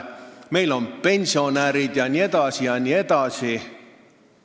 Meil on pensionärid jne.